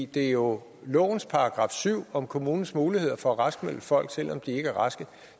det er jo lovens § syv om kommunens muligheder for at raskmelde folk selv om de ikke er raske